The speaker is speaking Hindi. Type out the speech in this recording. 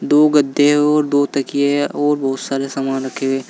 दो गद्दे और दो तकिए और बहुत सारे सामान रखे गए